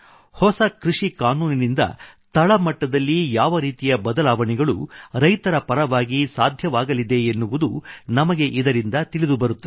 ಹೊಸ ಕೃಷಿಕಾನೂನಿನಿಂದ ತಳ ಮಟ್ಟದಲ್ಲಿ ಯಾವ ರೀತಿಯ ಬದಲಾವಣೆಗಳು ರೈತರ ಪರವಾಗಿ ಸಾಧ್ಯವಾಗಲಿದೆ ಎನ್ನುವುದು ನಮಗೆ ಇದರಿಂದ ತಿಳಿದುಬರುತ್ತದೆ